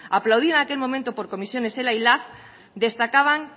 aplaudida en aquel momento por comisiones ela y lab destacaban